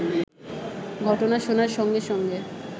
ঘটনা শোনার সঙ্গে সঙ্গে